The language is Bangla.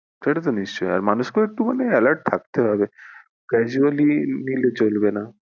সেটা তো নিশ্চয়ই আর মানুষ কেও একটু মানে alert থাকতে হবে casually নিলে চলবে না।